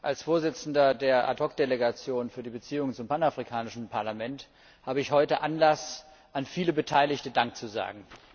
Als Vorsitzender der Ad hoc Delegation für die Beziehungen zum Panafrikanischen Parlament habe ich heute Anlass, vielen Beteiligten Dank zu sagen.